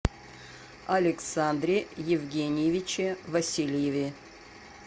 александре евгеньевиче васильеве